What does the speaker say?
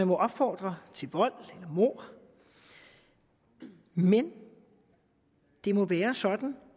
må opfordres til vold eller mord men det må være sådan